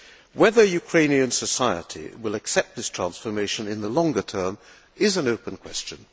Whether Ukrainian society will accept this transformation in the longer term is an open question.